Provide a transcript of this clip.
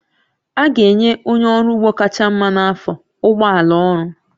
A ga-enye onye ọrụ ugbo kacha mma n'afọ ụgbọ ala ọrụ